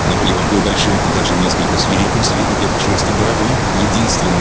наполеон был большим и даже несколько свирепым с виду беркширским боровом единственным